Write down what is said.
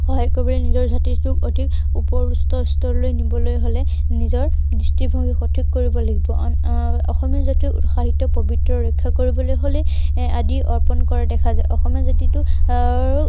কৰিবলৈ নিজৰ জাতিটোক আহ অধিক ওপৰৰ স্তৰলৈ নিবলৈ হলে নিজৰ দৃষ্টিভংগী সঠিক কৰিব লাগিব। এৰ অসমীয়া জাতিৰ পৱিত্ৰতা ৰক্ষা কৰিবলৈ হলে এৰ আদি অৰ্পন কৰা দেখা যায়। অসমীয়া জাতিটোক এৰ